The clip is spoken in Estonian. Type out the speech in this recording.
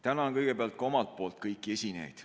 Tänan kõigepealt ka kõiki esinejaid.